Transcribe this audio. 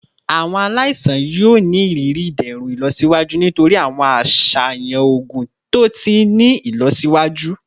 Awọn alaisan yoo ni iriri iderun ilọsiwaju nitori awọn aṣayan oogun to ti ni ilọsiwaju